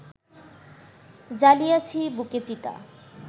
জ্বালিয়াছি বুকে চিতা